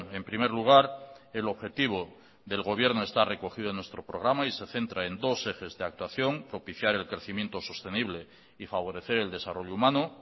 en primer lugar el objetivo del gobierno está recogido en nuestro programa y se centra en dos ejes de actuación propiciar el crecimiento sostenible y favorecer el desarrollo humano